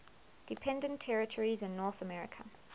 dependent territories in north america